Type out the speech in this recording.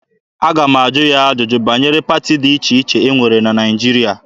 A ga-ajụ ya ajụjụ banyere pati dị iche iche e nwere na Naịjirịa.